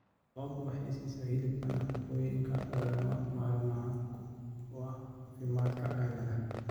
Lo'du waxay siisaa hilibka nafaqooyinka lagama maarmaanka u ah caafimaadka aadanaha.